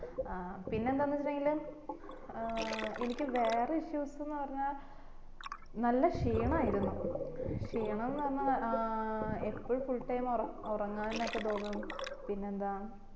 ആ പിന്നെ എന്താന്ന് വെച് ഇണ്ടെകില് ഏർ എനിക്ക് വേറെ issues എന്ന് പറഞ്ഞ നല്ല ക്ഷീണം ആയിരുന്നു ക്ഷീണെന്ന് പറഞ്ഞാ ഏർ എപ്പോഴും full time ഉറങ്ങാനൊക്കെ തോന്നും പിന്നെ എന്താ